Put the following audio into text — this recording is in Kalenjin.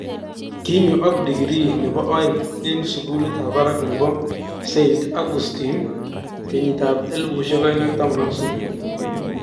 Kinyo ak degree nebo aeng eng sukulit ab barak nebo st Augustine 2013.